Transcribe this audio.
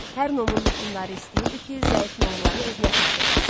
Hər nomun hökmdarı istəyirdi ki, zəif nomları özünə tabe eləsin.